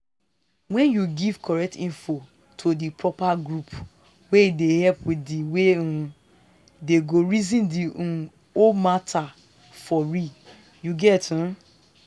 wen you give correct info to di proper age group e dey help wit di way um dem go reason the um whole matter for real youget um